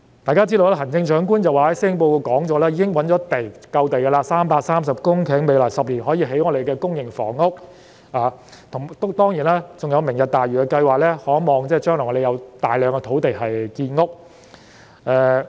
大家都知道，行政長官在施政報告中表示已覓得足夠的土地，有330公頃土地可在未來10年興建公營房屋，當然，還有"明日大嶼"計劃，我們可望將來有大量土地興建房屋。